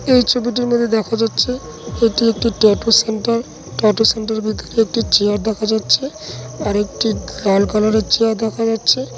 এই ছবিটির মধ্যে দেখা যাচ্ছে এটি একটি ট্যাটু সেন্টার ট্যাটু সেন্টার - এর ভিতরে একটি চেয়ার দেখা যাচ্ছে আর একটি একটি লাল কালার - এর চেয়ার দেখা যাচ্ছে।